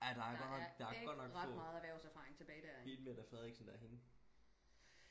ja der er godt nok der er godt nok få hende Mette Frederiksen derinde